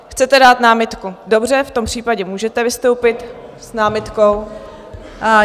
Chcete dát námitku, dobře, v tom případě můžete vystoupit s námitkou.